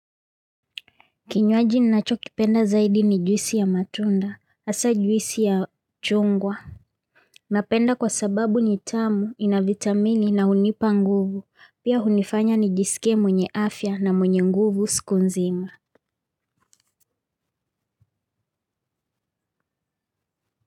Kinywaji ninacho kipenda zaidi ni juisi ya matunda, hasa juisi ya chungwa. Napenda kwa sababu ni tamu, ina vitamini na hunipa nguvu, pia hunifanya ni jisike mwenye afya na mwenye nguvu siku nzima.